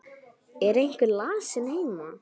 Er einhver lasinn heima?